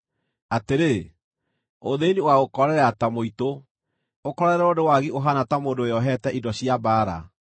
atĩrĩ, ũthĩĩni ũgaagũkorerera ta mũitũ, ũkorererwo nĩ wagi ũhaana ta mũndũ wĩohete indo cia mbaara.